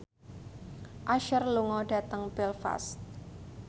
Usher lunga dhateng Belfast